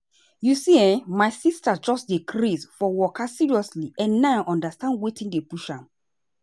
you see[um]my sister just dey craze for waka seriously and now i understand wetin dey push am.